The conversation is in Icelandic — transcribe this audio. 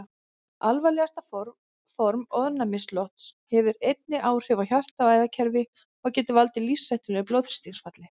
Alvarlegasta form ofnæmislosts hefur einnig áhrif á hjarta- og æðakerfi og getur valdið lífshættulegu blóðþrýstingsfalli.